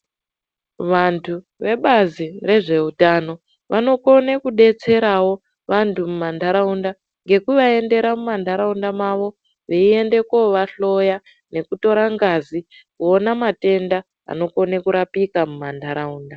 Vantu vebazi rezveutano vanokone kubetseravo vantu muma nharaunda. Ngekuvaendera mumanharaunda mavo veiende kovahloya nekutore ngazi kuona matenda anokone kurapika mumanharaunda.